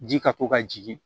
Ji ka to ka jigin